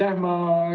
Aitäh!